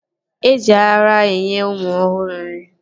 Eji ara enye ụmụ ọhụrụ nri